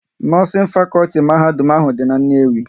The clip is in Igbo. Nọọsin fakọlti mahadum ahụ dị n'Nnewi